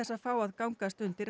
að fá að gangast undir